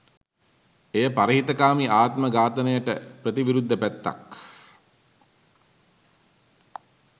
එය පරහිතකාමී ආත්ම ඝාතනයට ප්‍රති විරුද්ධ පැත්තක්.